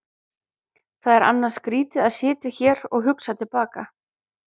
Það er annars skrýtið að sitja hér og hugsa til baka.